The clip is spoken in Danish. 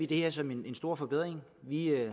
det her som en stor forbedring vi